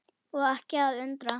Og ekki að undra.